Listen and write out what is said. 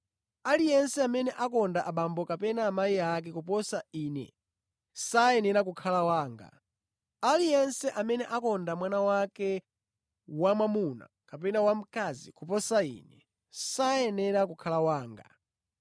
“Aliyense amene akonda abambo kapena amayi ake koposa Ine sayenera kukhala wanga; aliyense amene akonda mwana wake wamwamuna kapena wamkazi koposa Ine sayenera kukhala wanga.